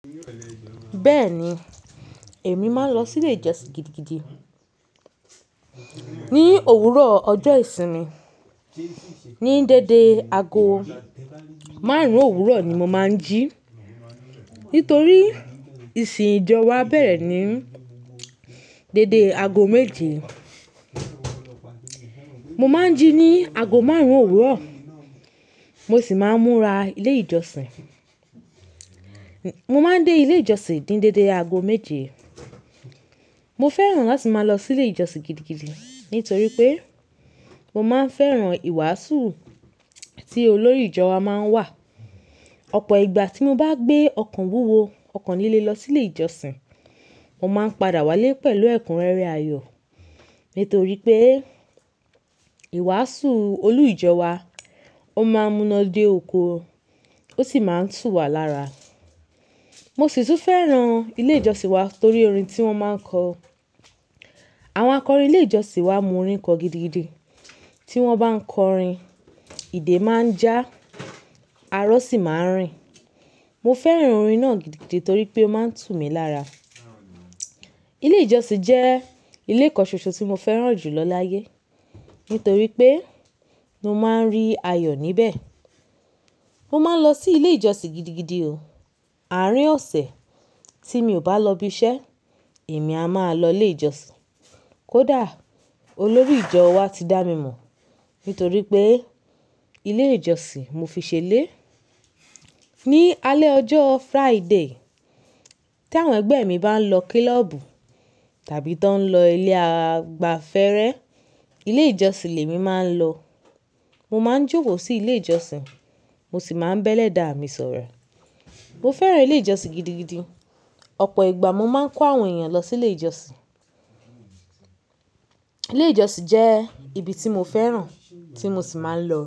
Bẹ́ẹ̀ni, èmi máa ń lọ sí ilé ìjọsìn gidigidi. Ni òwúrọ̀ ọjọ́ ìsinmi, ní dédé aago márùn-ún òwúrọ̀ ni mo máa ń jí. Nítorí ìsìn ìjọ wa bẹ̀rẹ̀ ní dédé aago méje. Mo máa ń jí ní aago márùn-ún òwúrọ̀, mo sì máa ń múra ilé ìjọsìn. Mo máa ń dé ilé ìjọsìn ní dédé aago méje. Mo fẹ́ràn láti máa lọ sí ilé ìjọsìn gidigidi nítorí pé mo máa ń fẹ́ràn ìwàásù tí olórí ìjọ wa máa ń wà. Ọ̀pọ̀ ìgbà tí mo bá gbé ọkan wúwo, ọkùn nílé lọ sílé ìjọsìn, mo máa ń padà wálé pẹ̀lú ẹ̀kúnrẹ́rẹ́ ayọ̀. Nítorí pé ìwàásù olu ìjọ wa, ó máa ń múná dé oko, ó sì máa ń tù wá lára. Mo sì tún fẹ́ràn ilé ìjọsìn wa nítorí orin tí wọ́n máa ń kọ. Àwọn akọrin ilé ìjọsìn wa mú orin kọ gidigidi. Tí wọ́n bá ń kọ orin, ìdè máa ń já, arọ̀ sì máa ń rìn. Mo fẹ́ràn orin náà gidigidi torí pé ó máa ń tù mí lára. Ilé ìjọsìn jẹ́ ilé kanṣoso tí mo fẹ́ràn jù lọ láyé. Nítorí pé mo máa ń rí ayọ̀ níbẹ̀. Mo máa ń lọ sí ilé ìjọsìn gidigidi o. Àárín ọ̀sẹ̀ tí mi ò bá lọ ibi iṣẹ́, èmi a máa lọ ilé ìjọsìn. Kódà olórí ìjọ wa ti dá mi mọ̀. Nítorí pé ilé ìjọsìn mo fi ṣe lé. Ni alẹ́ ọjọ́ Friday tí àwọn ẹgbẹ́ mi bá ń lọ klọ́ọ̀bù tàbí tí wọ́n ń lọ ilé àgbàfẹ́rẹ́, ilé ìjọsìn lèmi máa ń lọ. Mo máa ń jókó sí ilé ìjọsìn, mo sì máa ń bẹ́lẹ̀ dá mi sọ̀rọ̀. Mo fẹ́ràn ilé ìjọsìn gidigidi. Ọ̀pọ̀ ìgbà mo máa ń kó àwọn èèyàn lọ sí ilé ìjọsìn. Ilé ìjọsìn jẹ́ ibi tí mo fẹ́ràn, tí mo sì máa ń lọ.